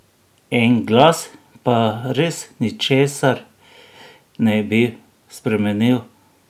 En glas pa res ničesar ne bi spremenil!